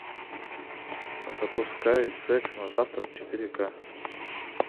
запускай секс на завтрак четыре ка